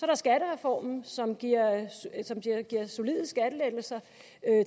der skattereformen som giver solide skattelettelser